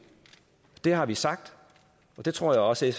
det har vi sagt og det tror jeg også